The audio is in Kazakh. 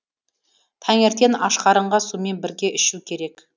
таңертең ашқарынға сумен бірге ішу керек